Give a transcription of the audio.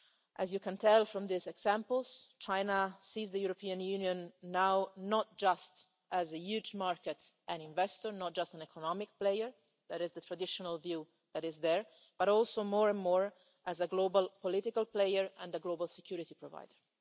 As you can tell from these examples, China sees the European Union now not just as a huge market and an investor, not just an economic player the traditional view but also increasingly as a global political player and a global security provider.